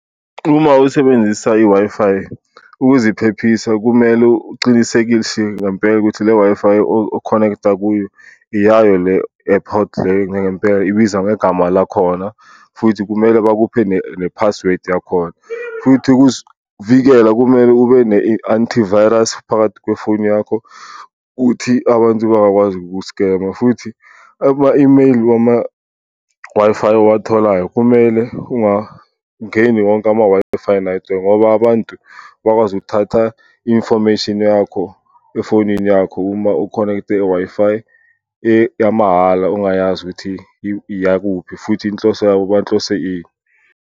Uma usebenzisa i-Wi-Fi ukuziphephisa kumele ucinisekise ngempela ukuthi le Wi-Fi o-connect-a kuyo iyayo le ngempela ibiza ngegama lakhona, futhi kumele bakuphe ne-password yakhona. Futhi ukuzivikela kumele ube ne-antivirus phakathi kwefoni yakho uthi abantu bangakwazi uku-scammer, futhi ama-imeyili wama-Wi-Fi owatholayo kumele ungangeni wonke ama-Wi-Fi . Ngoba abantu bakwazi ukuthatha infomation yakho efonini yakho uma u-connect-e e-Wi Fi yamahhala ongayazi ukuthi iyakuphi futhi inhloso yabo banhlose ini.